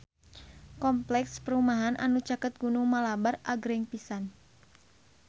Kompleks perumahan anu caket Gunung Malabar agreng pisan